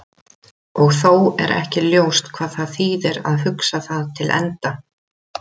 Og þó er ekki ljóst hvað það þýðir að hugsa það til enda.